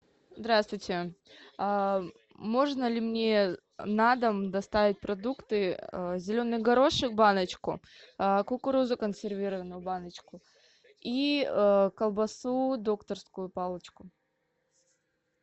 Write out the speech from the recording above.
здравствуйте можно ли мне на дом доставить продукты зеленый горошек баночку кукурузу консервированную баночку и колбасу докторскую палочку